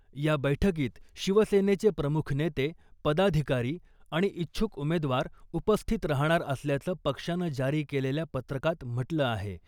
या बैठकीत शिवसेनेचे प्रमुख नेते , पदाधिकारी आणि इच्छुक उमेदवार उपस्थित राहणार असल्याचं पक्षानं जारी केलेल्या पत्रकात म्हटलं आहे .